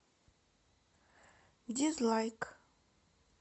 дизлайк